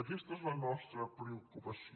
aquesta és la nostra preocupació